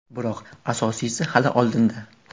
Biroq, asosiysi hali oldinda.